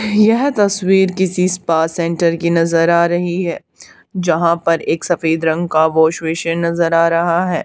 यह तस्वीर किसी स्पा सेंटर की नजर आ रही है जहां पर एक सफेद रंग का वॉश बेसिन नजर आ रहा है।